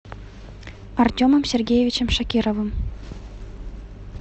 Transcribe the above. артемом сергеевичем шакировым